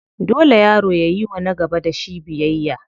Dole yaro yayiwa na gaba da shi biyayya.